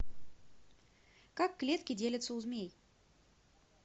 как клетки делятся у змей